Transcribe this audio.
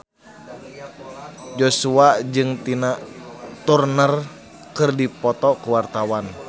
Joshua jeung Tina Turner keur dipoto ku wartawan